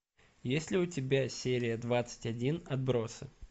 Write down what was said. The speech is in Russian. есть ли у тебя серия двадцать один отбросы